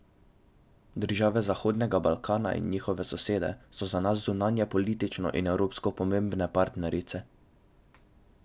Države Zahodnega Balkana in njihove sosede so za nas zunanjepolitično in evropsko pomembne partnerice.